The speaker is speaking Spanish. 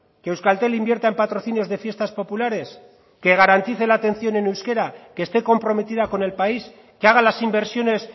que euskaltel invierta en patrocinios de fiestas populares que garantice la atención en euskera que esté comprometida con el país que haga las inversiones